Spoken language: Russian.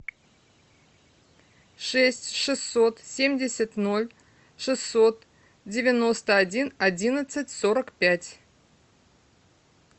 шесть шестьсот семьдесят ноль шестьсот девяносто один одиннадцать сорок пять